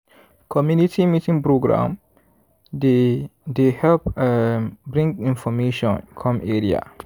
community meeting program dey dey help um bring information come area.